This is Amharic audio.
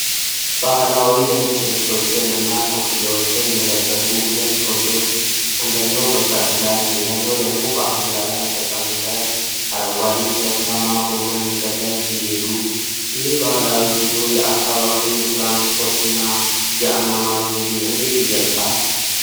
ባህላዊ ነጭ ልብሶችን እና ኮፍያዎችን የለበሱ ሁለት ወንዶች፣ አንደኛው በፈረስ ላይ ሌላኛው ደግሞ በአህያ ላይ ተቀምጠው አረንጓዴ ኮረብታማ በሆነ መንገድ ላይ ሲሄዱ፣ ይህ ባህላዊ ጉዞ የአካባቢውን የትራንስፖርትና የአኗኗር ዘይቤ እንዴት ይገልጻል?